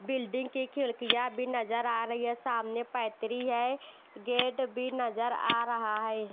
Building के खिड़कियां भी नजर आ रही है सामने फैक्ट्री है गेट भी नजर आ रहा है।